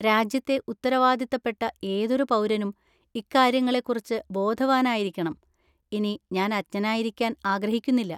രാജ്യത്തെ ഉത്തരവാദിത്തപ്പെട്ട ഏതൊരു പൗരനും ഇക്കാര്യങ്ങളെക്കുറിച്ച് ബോധവാനായിരിക്കണം, ഇനി ഞാൻ അജ്ഞനായിരിക്കാൻ ആഗ്രഹിക്കുന്നില്ല.